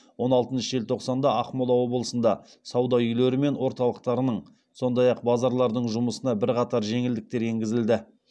он алтыншы желтоқсанда ақмола облысында сауда үйлері мен орталықтарының сондай ақ базарлардың жұмысына бірқатар жеңілдіктер енгізілді